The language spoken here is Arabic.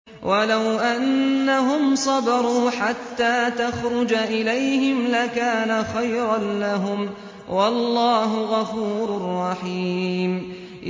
وَلَوْ أَنَّهُمْ صَبَرُوا حَتَّىٰ تَخْرُجَ إِلَيْهِمْ لَكَانَ خَيْرًا لَّهُمْ ۚ وَاللَّهُ غَفُورٌ رَّحِيمٌ